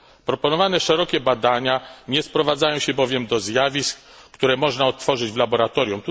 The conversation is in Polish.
Proponowane szerokie badania nie sprowadzają się bowiem do zjawisk, które można odtworzyć w laboratorium.